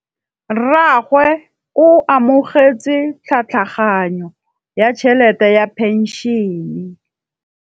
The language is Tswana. Rragwe o amogetse tlhatlhaganyô ya tšhelête ya phenšene.